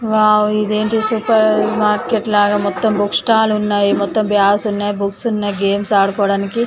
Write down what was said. Wow ఇది ఏంటి supermarket లాగా మొత్తం బుక్ స్టాల్ ఉన్నాయి మొత్తం బ్యాగ్స్ ఉన్నాయి బుక్స్ ఉన్నాయ్ గేమ్స ఆడు కోడానికి.